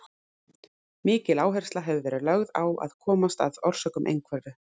Mikil áhersla hefur verið lögð á að komast að orsökum einhverfu.